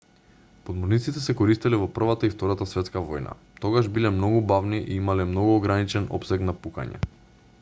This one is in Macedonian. подморниците се користеле во првата и втората светска војна тогаш биле многу бавни и имале многу ограничен опсег на пукање